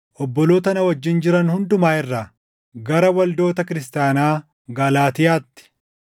obboloota na wajjin jiran hundumaa irraa, Gara Waldoota Kiristaanaa Galaatiyaatti: